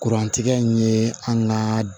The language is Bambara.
Kurantigɛ in ye an ka